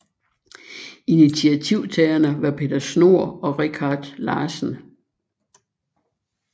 Initiativtagerne var Peter Schnohr og Richard Larsen